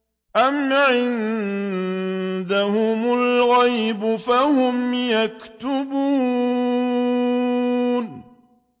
أَمْ عِندَهُمُ الْغَيْبُ فَهُمْ يَكْتُبُونَ